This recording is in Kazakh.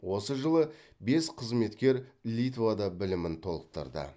осы жылы бес қызметкер литвада білімін толықтырды